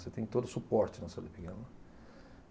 Você tem todo suporte na cidade pequena.